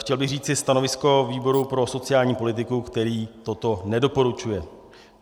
Chtěl bych říci stanovisko výboru pro sociální politiku, který toto nedoporučuje.